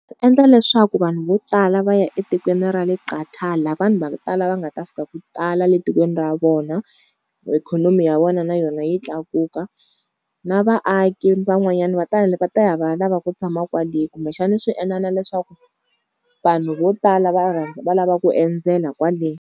Endla leswaku vanhu vo tala va ya etikweni ra le Qatar la vanhu va ku tala va nga ta fika ku tala le tikweni ra vona, ikhonomi ya vona na yona yi tlakuka, na vaaki van'wanyana va ta va ta ya va ya lava ku tshama kwale, kumbexani swi endla na leswaku vanhu vo tala va va lava ku endzela kwale.